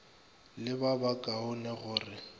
le ba ba kaonego re